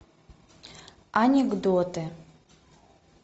анекдоты